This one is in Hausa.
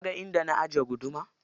Kaga inda na ajiye guduma?